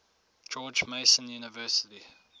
george mason university